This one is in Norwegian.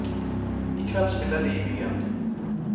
I kveld spiller de i byen.